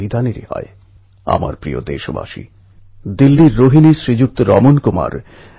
পণ্ঢরপুরের বারী অর্থাৎ পুণ্যযাত্রা মহারাষ্ট্রের পুরনো ঐতিহ্য